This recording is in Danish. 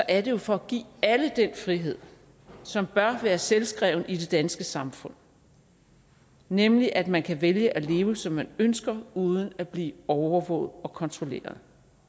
er det jo for at give alle den frihed som bør være selvskreven i det danske samfund nemlig at man kan vælge at leve som man ønsker uden at blive overvåget og kontrolleret